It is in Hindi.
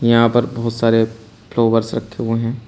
यहां पर बहुत सारे फ्लॉवर्स रखे हुए है।